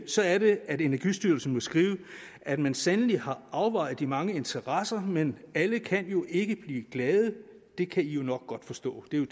så er det at energistyrelsen må skrive at man sandelig har afvejet de mange interesser men alle kan jo ikke blive glade det kan i jo nok godt forstå det